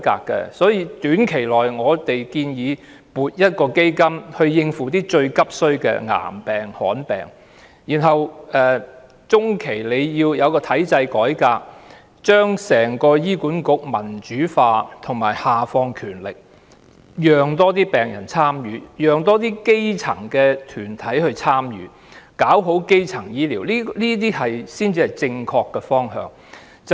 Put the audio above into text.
在短期內，我們建議先撥一項基金以應付最急需的癌病和罕見病，然後在中期需要進行體制改革，把醫管局民主化及下放權力，讓更多病人和基層團體能夠參與，做好基層醫療，這才是正確的方向。